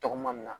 Tɔgɔma nin na